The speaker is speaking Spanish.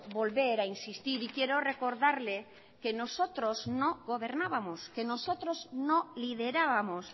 volver a insistir y quiero recordarle que nosotros no gobernábamos que nosotros no liderábamos